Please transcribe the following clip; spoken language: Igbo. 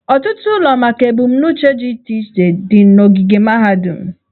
Ọtụtụ ụlọ maka ebumnuche dị iche iche dị n'ogige mahadum.